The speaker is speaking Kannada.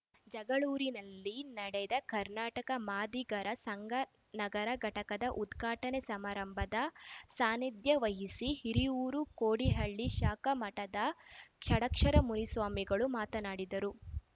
ಜಗಳೂರಿನಲ್ಲಿ ನಡೆದ ಕರ್ನಾಟಕ ಮಾದಿಗರ ಸಂಘ ನಗರ ಘಟಕದ ಉದ್ಘಾಟನೆ ಸಮಾರಂಭದ ಸಾನ್ನಿಧ್ಯ ವಹಿಸಿ ಹಿರಿಯೂರು ಕೋಡಿಹಳ್ಳಿ ಶಾಖಾ ಮಠದ ಷಡಕ್ಷರ ಮುನಿ ಸ್ವಾಮಿಗಳು ಮಾತನಾಡಿದರು